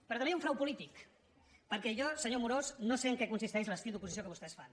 però també hi ha un frau polític perquè jo senyor amorós no sé en què consisteix l’estil d’oposició que vostè fan